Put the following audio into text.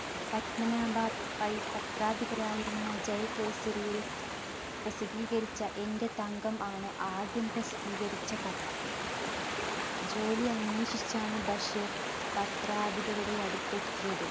പദ്‌മനാഭ പൈ പത്രാധിപരായിരുന്ന ജയകേസരിയിൽ പ്രസിദ്ധീകരിച്ച എന്റെ തങ്കം ആണ് ആദ്യം പ്രസിദ്ധീകരിച്ച കഥ. ജോലി അന്വേഷിച്ചാണ് ബഷീർ പത്രാധിപരുടെ അടുത്തെത്തിയത്